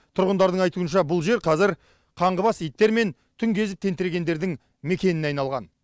тұрғындардың айтуынша бұл жер қазір қаңғыбас иттер мен түн кезіп тентірегендердің мекеніне айналған